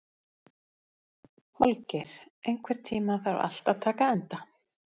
Holgeir, einhvern tímann þarf allt að taka enda.